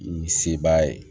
Ni sebaaya ye